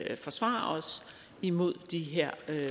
at forsvare os imod de her